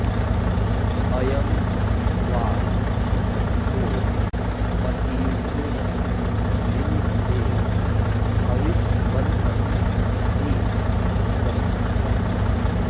अ॒यं वां॑ व॒त्सो म॒तिभि॒र्न वि॑न्धते ह॒विष्म॑न्तं॒ हि गच्छ॑थः